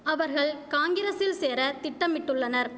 அவர்கள் காங்கிரசில் சேர திட்டமிட்டுள்ளனர்